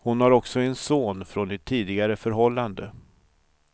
Hon har också en son från ett tidigare förhållande.